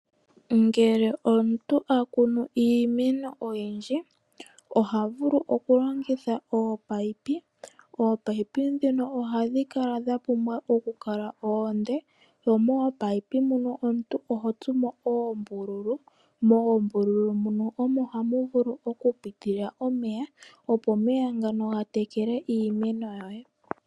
Ngele omuntu akuunu iimeno oyindji ohavulu oku longitha ominino. Ominino ndhino ohadhi pumbwa okukala oonde mo moominino muno omuntu ohotsumo oombululu. Moombululu muno omo hamu vulu oku pitila omeya opo omeya ngano ga tekele iimeno yoye.